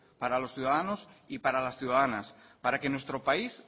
para los ciudadanos y para las ciudadanas para que nuestro país